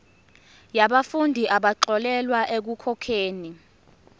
yabafundi abaxolelwa ekukhokheni